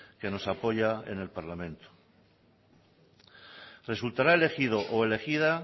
que nos apoya en el parlamento resultará elegido o elegida